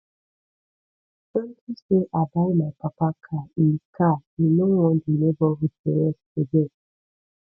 unto say i buy my papa car in car he no wan the neighborhood to rest again